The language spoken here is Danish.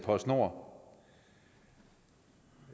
og så kommer